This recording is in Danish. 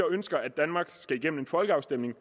ønsker at danmark skal igennem en folkeafstemning